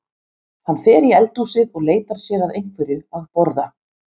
Hann fer í eldhúsið og leitar sér að einhverju að borða.